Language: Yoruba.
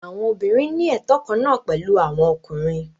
Àwọn obìnrin ní ẹtọ kan náà pẹ̀lú àwọn ọkùnrin.